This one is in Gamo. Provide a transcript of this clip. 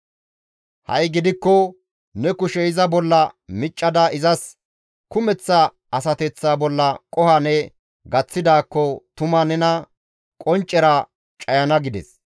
Ha7i gidikko ne kushe iza bolla miccada izas kumeththa asateththa bolla qoho ne gaththidaakko tuma nena qonccera cayana» gides.